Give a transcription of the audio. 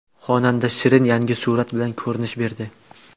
Xonanda Shirin yangi surat bilan ko‘rinish berdi.